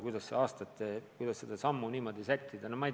Kuidas me saame samme niimoodi sättida?